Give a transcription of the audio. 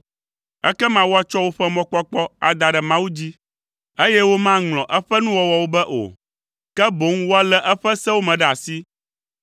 Ekema woatsɔ woƒe mɔkpɔkpɔ ada ɖe Mawu dzi, eye womaŋlɔ eƒe nuwɔwɔwo be o, ke boŋ woalé eƒe sewo me ɖe asi.